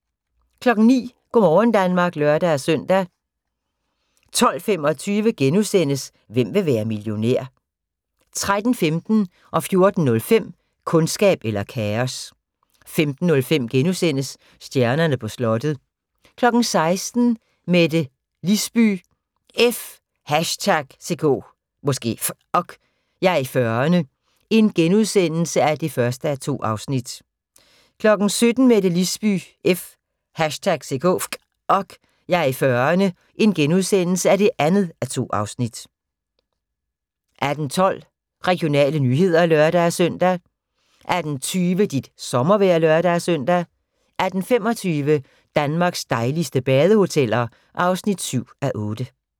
09:00: Go' morgen Danmark (lør-søn) 12:25: Hvem vil være millionær? * 13:15: Kundskab eller kaos 14:05: Kundskab eller kaos 15:05: Stjernerne på slottet * 16:00: Mette Lisby – F#ck! Jeg er i 40'erne (1:2)* 17:00: Mette Lisby – F#ck! Jeg er i 40'erne (2:2)* 18:12: Regionale nyheder (lør-søn) 18:20: Dit sommervejr (lør-søn) 18:25: Danmarks dejligste badehoteller (7:8)